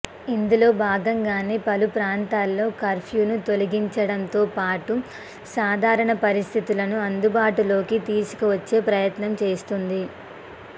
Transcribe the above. ఇందులో భాగంగానే పలు ప్రాంతాల్లో కర్ఫూను తొలగించడంతోపాటు సాధరణ పరిస్థితులను అందుబాటులోకి తీసుకువచ్చే ప్రయత్నం చేస్తోంది